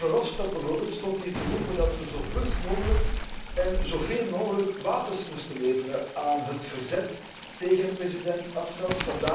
Guy Verhofstadt bijvoorbeeld stond hier te roepen dat we zo vlug mogelijk en zoveel mogelijk wapens moesten leveren aan het verzet tegen president Assat.